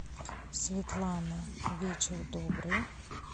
светлана вечер добрый